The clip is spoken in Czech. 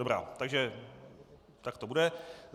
Dobrá, takže tak to bude.